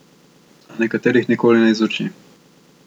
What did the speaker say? A nekaterih nikoli ne izuči.